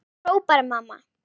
hrópar mamma.